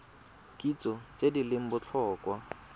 kitso tse di leng botlhokwa